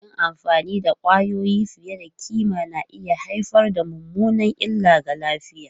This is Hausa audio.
Yin amfani da kwayoyi fiye da kima na iya haifar da mummunar illa ga lafiya.